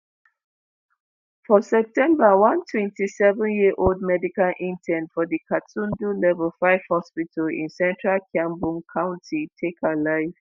for september one 27-year-old medical intern for di gatundu level 5 hospital in central kiambu county take her life.